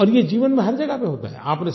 और ये जीवन में हर जगह पर होता है